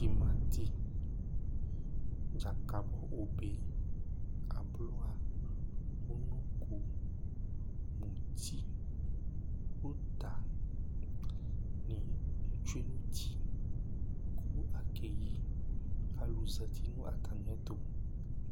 Timati, dzakabɔ obe ye, ablɔ, ʋnɔko, muti, ʋta ni tsʋe nʋ ʋti kʋ akeyi Alu zɛti nʋ atamiɛtu